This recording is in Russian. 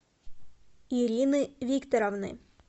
ирины викторовны